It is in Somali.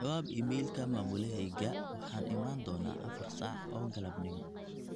jawaab iimaylka mamulaheyga waxaan iman doona afar saac oo galabnimo